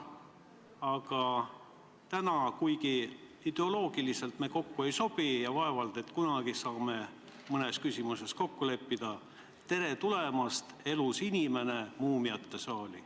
Aga täna, kuigi ideoloogiliselt me kokku ei sobi ja vaevalt et kunagi saame mõnes küsimuses kokku leppida: tere tulemast, elus inimene, muumiate saali!